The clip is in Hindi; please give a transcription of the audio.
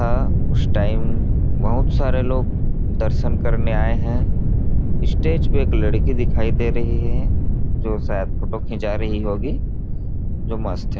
था उस टाइम बहुत सारे लोग दर्शन करने आए हैं स्टेज पर एक लड़की दिखाई दे रही है जो शायद फोटो खींचा रही होगी जो मस्त है।